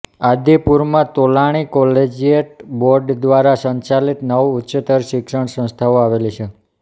આદિપુરમાં Tolani collegiate board દ્વારા સંચાલીત નવ ઉચ્ચતર શિક્ષણ સંસ્થાઓ આવેલી છે